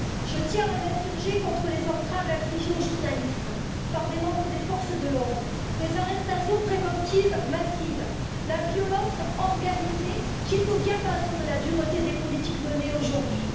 Je tiens à m'insurger contre les entraves infligées aux journalistes par des membres des forces de l'ordre, les arrestations préventives massives et la violence organisée, qui est au diapason avec la dureté des politiques menées aujourd'hui.